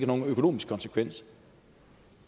nogen økonomisk konsekvens